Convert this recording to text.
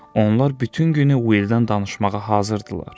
Onlar bütün günü Willdən danışmağa hazır idilər.